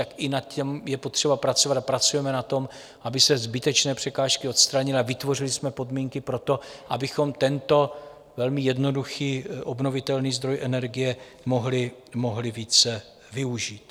Tak i na tom je potřeba pracovat a pracujeme na tom, aby se zbytečné překážky odstranily a vytvořili jsme podmínky pro to, abychom tento velmi jednoduchý obnovitelný zdroj energie mohli více využít.